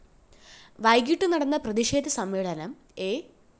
വൈകിട്ടു നടന്ന പ്രതിഷേധ സമ്മേളനം എ